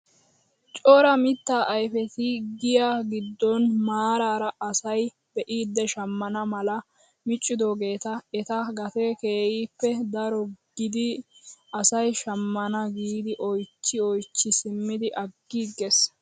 Cora mittaa ayfeti giyaa giddon maarara asay be'idi shammana mala miccidoogeta eta gatee kehippe daro giidi asay shammana giidi oychchi oychchi simmidi aggiiges!